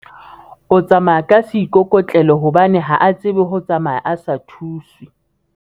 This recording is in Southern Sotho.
o tsamaya ka seikokotlelo hobane ha a tsebe ho tsamaya a sa thuswe